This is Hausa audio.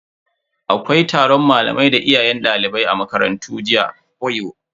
Akwai taron malamai da iyaye jibi a makarantar mu.